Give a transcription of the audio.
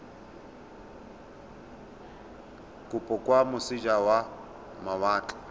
kopo kwa moseja wa mawatle